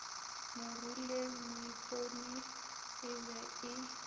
moruleng moipone e be e